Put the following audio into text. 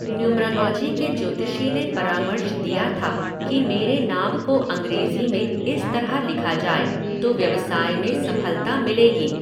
Numerology के ज्योतिषी ने परामर्श दिया था कि मेरे नाम को अंग्रेज़ी में इस तरह लिखा जाए तो व्यवसाय में सफलता मिलेगी।